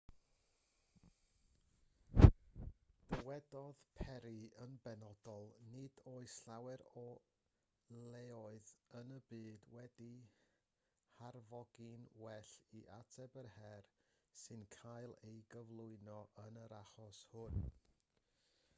dywedodd perry yn benodol nid oes llawer o leoedd yn y byd wedi'u harfogi'n well i ateb yr her sy'n cael ei gyflwyno yn yr achos hwn